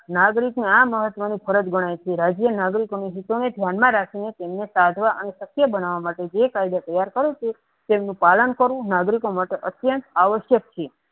નાગરિકને આ મહત્વની ફરજ ગણાતી રાજ્વીયી નાગરિક અંગે ધ્યાનમાં રાખીને કાઢવા અને શક્ય બના માટે જ કાયદા તેમનું પાલન કરવું નાગરિકો માટે અત્ત્યંત આવર્ષક છે.